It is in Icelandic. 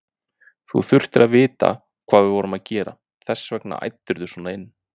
Þú þurftir að vita hvað við vorum að gera, þess vegna æddirðu svona inn.